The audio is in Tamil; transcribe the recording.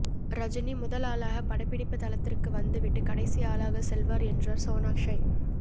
ரஜினி முதல் ஆளாக படப்பிடிப்பு தளத்திற்கு வந்துவிட்டு கடைசி ஆளாக செல்வார் என்றார் சோனாக்ஷி